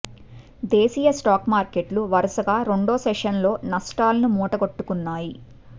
దేశీయ స్టాక్ మార్కెట్లు వరుసగా రెండో సెషన్ లో నష్టాలను మూటగట్టుకున్నాయి